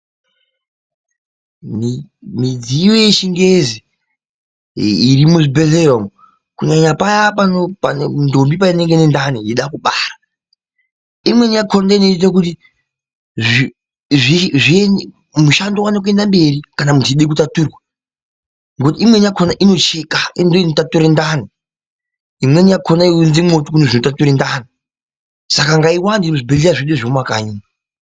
Midziyo yechingezi iri muzvibhedhleya umu ,kunyanya paya ndombi panenge ine ndani ichida kubara , imweni yachona ndiyo inoita kuti mushando iwane kuenda mberi kana muchide kutaturwa ngekuti imweni yachona inocheka ,ndiyo inotatura ndani imweni yachona yaiunze mwoto kune zvinotatura ndani, saka ngaiwande muzvibhedhlera zvemumakanyi.